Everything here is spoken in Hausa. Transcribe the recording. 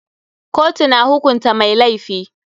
Kotu na hukunta mai laifi.